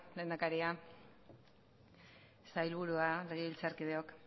lehendakaria sailburua legebiltzarkideok